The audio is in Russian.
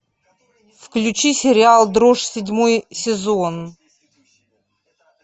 включи сериал дрожь седьмой сезон